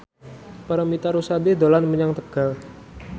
Paramitha Rusady dolan menyang Tegal